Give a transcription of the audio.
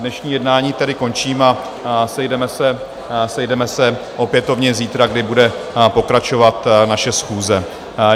Dnešní jednání tedy končím a sejdeme se opětovně zítra, kdy bude pokračovat naše schůze.